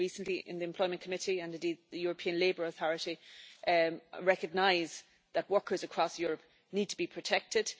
had a hearing recently in the Employment Committee and the European Labour Authority recognises that workers across Europe need to be protected.